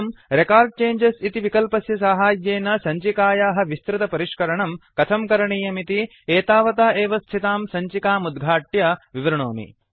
अहम् record changes इति विकल्पस्य साहाय्येन सञ्चिकायाः विस्तृतपरिष्करणं कथं करणीयमिति एतावता एव स्थितां सञ्चिकाम् उद्घाट्य विवृणोमि